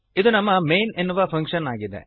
ಇದು ನಮ್ಮ ಮೈನ್ ಎನ್ನುವ ಫಂಕ್ಶನ್ ಆಗಿದೆ